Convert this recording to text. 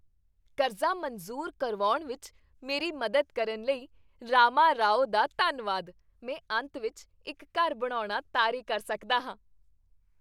ਕਰਜ਼ਾ ਮਨਜ਼ੂਰ ਕਰਵਾਉਣ ਵਿੱਚ ਮੇਰੀ ਮਦਦ ਕਰਨ ਲਈ ਰਾਮਾਰਾਓ ਦਾ ਧੰਨਵਾਦ। ਮੈਂ ਅੰਤ ਵਿੱਚ ਇੱਕ ਘਰ ਬਣਾਉਣਾ ਤਾਰੇ ਕਰ ਸਕਦਾ ਹਾਂ।